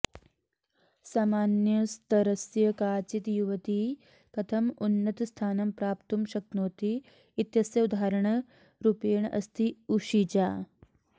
सामान्यस्तरस्य काचित् युवती कथम् उन्नतस्थानं प्राप्तुं शक्नोति इत्यस्य उदाहरणरूपेण अस्ति उशिजा